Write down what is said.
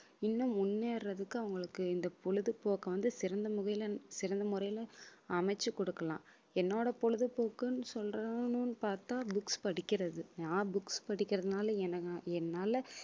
இன்னும் முன்னேறதுக்கு அவங்களுக்கு இந்த பொழுதுபோக்கு வந்து சிறந்த முறையிலே சிறந்த முறையிலே அமைத்து கொடுக்கலாம் என்னோட பொழுதுபோக்குன்னு சொல்லணும்ன்னு பார்த்தா books படிக்கிறது நான் books படிக்கிறதுனால எனக்கு என்னால